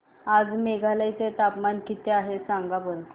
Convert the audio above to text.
आज मेघालय चे तापमान किती आहे सांगा बरं